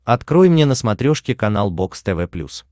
открой мне на смотрешке канал бокс тв плюс